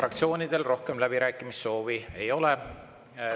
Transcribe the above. Fraktsioonidel rohkem läbirääkimissoovi ei ole.